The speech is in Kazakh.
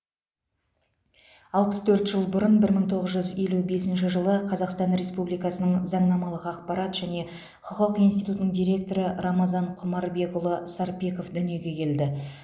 алпыс төрт жыл бұрын бір мың тоғыз жүз елу бесінші қазақстан республикасының заңнамалық ақпарат және құқық институтының директоры рамазан құмарбекұлы сарпеков дүниеге келді